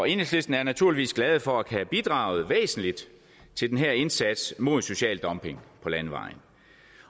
enhedslisten er naturligvis glad for at kunne bidrage væsentligt til den her indsats mod social dumping på landevejene